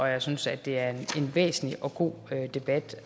jeg synes at det er en væsentlig og god debat